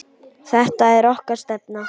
Þetta er okkar stefna.